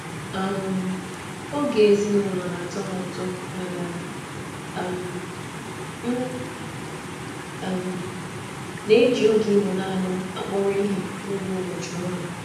Ịnụ ụtọ oge ezinụlọ na-amasị m mana m jikwa oge ịnọrọ naanị m n'ụbọchị ọrụ n'akpọrọ ihe.